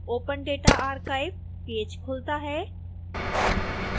open data archive page खुलता है